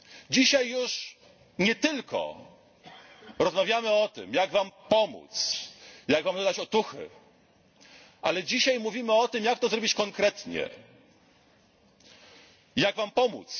Dzisiaj już nie tylko rozmawiamy o tym, jak Wam pomóc, jak Wam dodać otuchy, ale dzisiaj mówimy o tym, jak to zrobić konkretnie, jak Wam pomóc.